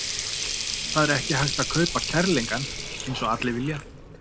Það er ekki hægt að kaupa kærleikann eins og allir vita.